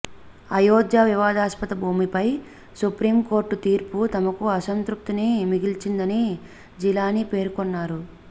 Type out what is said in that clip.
అయోధ్య వివాదాస్పద భూమిపై సుప్రీంకోర్టు తీర్పు తమకు అంసతృప్తిని మిగిల్చిందని జిలానీ పేర్కొన్నారు